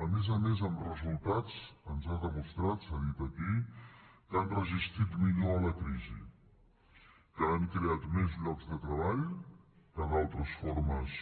a més a més amb resultats ens ha demostrat s’ha dit aquí que han resistit millor a la crisi que han creat més llocs de treball que d’altres formes